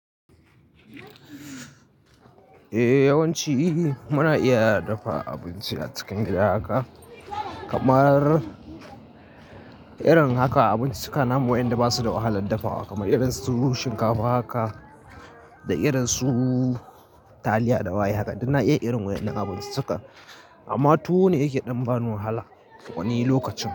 Eh yawanci muna iya dafa abinci a cikin gida haka kamar irin haka abinci suka namu wayanda basu da wahalan dafawa kamar irin su shinkafa haka da irin su taliya da waye haka duk na iya irin wayen nan abinci suka. Amma tuwo ne yake ɗan ba ni wahala wani lokacin.